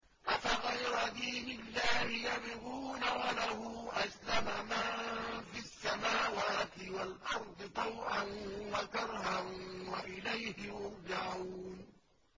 أَفَغَيْرَ دِينِ اللَّهِ يَبْغُونَ وَلَهُ أَسْلَمَ مَن فِي السَّمَاوَاتِ وَالْأَرْضِ طَوْعًا وَكَرْهًا وَإِلَيْهِ يُرْجَعُونَ